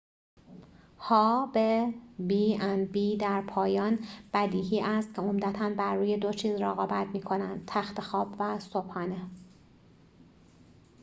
در پایان بدیهی است که b&b ها به عمدتا بر روی دو چیز رقابت می‌کنند تخت خواب و صبحانه